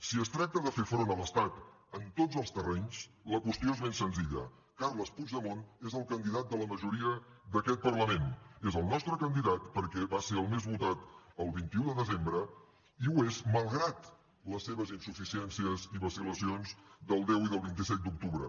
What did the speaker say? si es tracta de fer front a l’estat en tots els terrenys la qüestió és ben senzilla carles puigdemont és el candidat de la majoria d’aquest parlament és el nostre candidat perquè va ser el més votat el vint un de desembre i ho és malgrat les seves insuficiències i vacil·lacions del deu i del vint set d’octubre